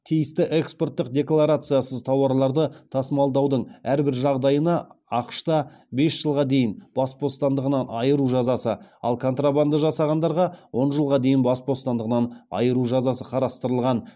тиісті экспорттық декларациясыз тауарларды тасымалдаудың әрбір жағдайына ақш та бес жылға дейін бас бостандығынан айыру жазасы ал контрабанда жасағандарға он жылға дейін бас бостандығынан айыру жазасы қарастырылған